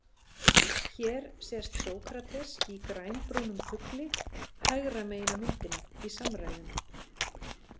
Hér sést Sókrates í grænbrúnum kufli hægra megin á myndinni í samræðum.